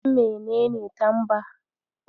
Ka san menene tamba?